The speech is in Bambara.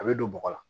A bɛ don bɔgɔ la